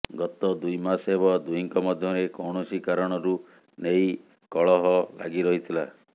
ଗତ ଦୁଇମାସ ହେବ ଦୁହିଁଙ୍କ ମଧ୍ୟରେ କୌଣସି କାରଣରୁ ନେଇ କଳହ ଲାଗି ରହିଥିଲା